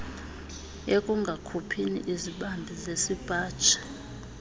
ekungakhuphini izibambi zesipaji